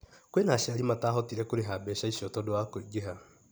Kwĩna aciari matahotire kũrĩha mbeca icio tondu wa kũingĩha.